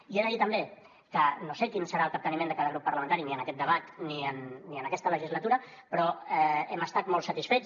i jo he de dir també que no sé quin serà el capteniment de cada grup parlamentari ni en aquest debat ni en aquesta legislatura però hem estat molt satisfets